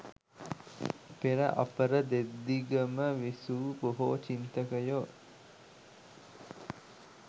පෙර අපර දෙදිගම විසූ බොහෝ චින්තකයෝ